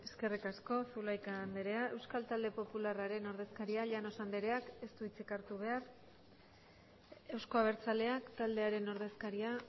eskerrik asko zulaika andrea euskal talde popularraren ordezkaria llanos andreak ez du hitzik hartu behar euzko abertzaleak taldearen ordezkaria